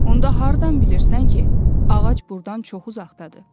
Onda hardan bilirsən ki, ağac burdan çox uzaqdadır?